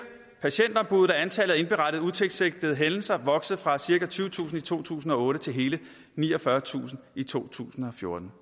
patientombuddet er antallet af indberettede utilsigtede hændelser vokset fra cirka tyvetusind i to tusind og otte til hele niogfyrretusind i to tusind og fjorten